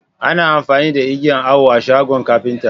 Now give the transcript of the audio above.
Ana amfani da igiyan Awo a shagon kapinta.